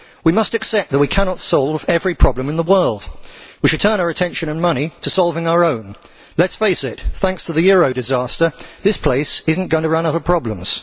We must accept that we cannot solve every problem in the world. We should turn our attention and money to solving our own. Let us face it thanks to the euro disaster, this place is not going to run out of problems.